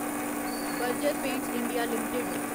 Berger Paints India limited